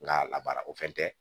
N ka labaara o fɛn tɛ